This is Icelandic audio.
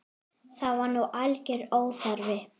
Það var nú algjör óþarfi.